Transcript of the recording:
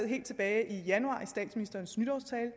helt tilbage i januar i statsministerens nytårstale